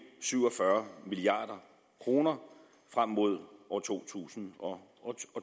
syv og fyrre milliard kroner frem mod år to tusind og